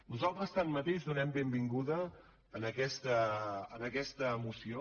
nosaltres tanmateix donem la benvinguda a aquesta moció